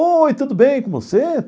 Oi, tudo bem com você?